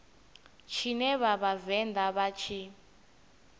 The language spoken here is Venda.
tshine vha vhavenḓa vha tshi